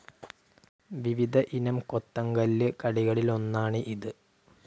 വിവിധ ഇനം കൊത്തങ്കല്ല് കളികളിൽഒന്നാണ് ഇത്.